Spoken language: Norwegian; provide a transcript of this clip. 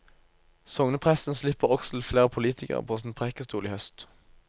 Sognepresten slipper også til flere politikere på sin prekestol i høst.